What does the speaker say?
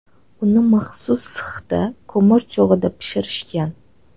Uni maxsus sixda ko‘mir cho‘g‘ida pishirishgan.